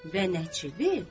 Və nəçidi?